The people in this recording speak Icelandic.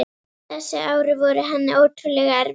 Þessi ár voru henni ótrúlega erfið.